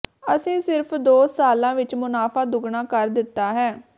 ਅਸੀਂ ਸਿਰਫ ਦੋ ਸਾਲਾਂ ਵਿੱਚ ਮੁਨਾਫ਼ਾ ਦੁੱਗਣਾ ਕਰ ਦਿੱਤਾ ਹੈ